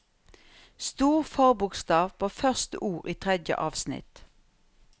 Stor forbokstav på første ord i tredje avsnitt